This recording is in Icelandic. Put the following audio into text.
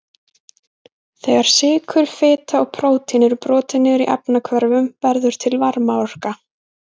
Þegar sykur, fita og prótín eru brotin niður í efnahvörfum verður til varmaorka.